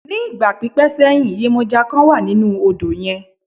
Ní ìgbà pípẹ́ sẹ́yìn, yemọja kan wà nínú odò yẹn.